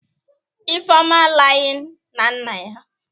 Ifeoma Iying na nna ya?